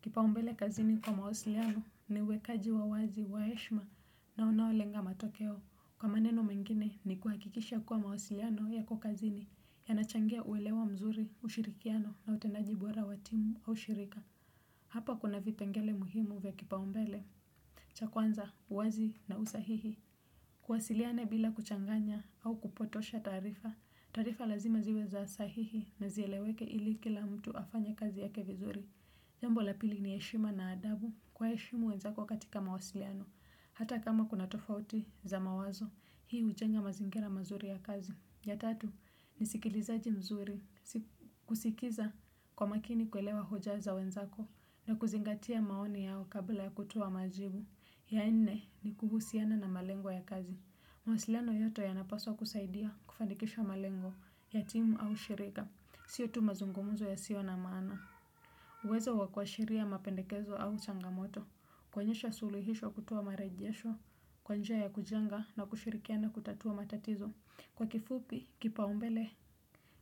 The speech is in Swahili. Kipaumbele kazini kwa mawasiliano ni uwekaji wa wazi, wa heshima na unaolenga matokeo. Kwa maneno mengine ni kuhakikisha kwa mawasiliano yako kazini, yanachangia uelewa mzuri, ushirikiano na utenaji bora wa timu au shirika. Hapa kuna vipengele muhimu vya kipaumbele. Cha kwanza, uwazi na usahihi. Uwasiliane bila kuchanganya au kupotosha taarifa. Taarifa lazima ziwe za sahihi na zieleweke ili kila mtu afanye kazi yake vizuri. Jambo la pili ni heshima na adabu. Waheshimu wenzako katika mawasiliano. Hata kama kuna tofauti za mawazo, hii hujenga mazingira mazuri ya kazi. Ya tatu, ni usikilizaji mzuri, kusikiza kwa makini kuelewa hoja za wenzako, na kuzingatia maoni yao kabla ya kutoa majibu. Ya nne, ni kuhusiana na malengo ya kazi. Mawasiliano yoyote yanapaswa kusaidia kufanikisha malengo ya timu au shirika. Siyo tu mazungumuzo yasiyo na maana. Uwezo wa kuashiria mapendekezo au changamoto. Kuonyesha suluhisho kutoa marejesho, kwa njia ya kujanga na kushirikiana kutatua matatizo, kwa kifupi, kipaumbele,